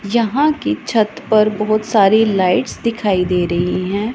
यहां की छत पर बहोत सारी लाइट्स दिखाई दे रही हैं।